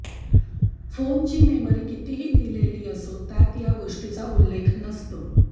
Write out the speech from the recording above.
फोनची मेमरी कितीही लिहिलेली असो त्यात या गोष्टीचा उल्लेख नसतो